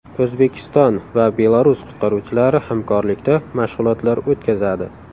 O‘zbekiston va Belarus qutqaruvchilari hamkorlikda mashg‘ulotlar o‘tkazadi.